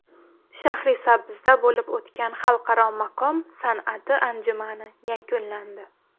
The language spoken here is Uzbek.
Shahrisabzda bo‘lib o‘tgan Xalqaro maqom san’ati anjumani yakunlandi.